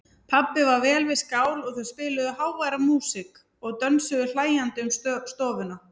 Pabbi var vel við skál og þau spiluðu háværa músík og dönsuðu hlæjandi um stofuna.